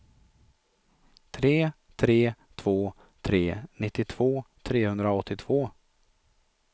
tre tre två tre nittiotvå trehundraåttiotvå